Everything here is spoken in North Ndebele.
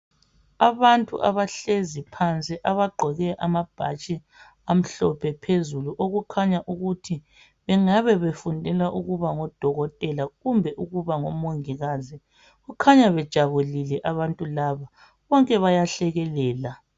Abantu abahlezi phansi abagqoke amabhatshi amhlophe phezulu okukhanya ukuthi bengabe befundela kuba ngodokotela kumbe ngumongikazi. Bakhanya bejabulile abantu laba bonke bayahlekelela.